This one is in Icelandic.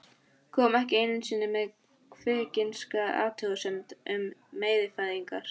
Kom ekki einu sinni með kvikinska athugasemd um meyfæðingar.